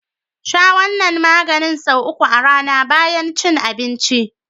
Sha wannan maganin sau uku a rAna bayan cin abinci.